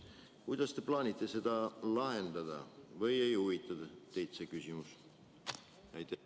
Kuidas te plaanite selle probleemi lahendada või ei huvita teid see küsimus?